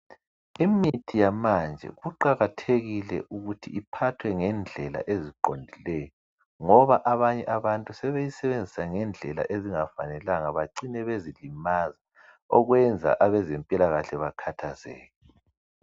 imithi yamanje kuqakathekile ukuthi iphathwe ngendlela eziqondileyo ngoba abanye abantu sebeyisebenzisa ngendlela ezingafanelanga becine sebezilimaza okwenza abezempilakahle bakhathazeke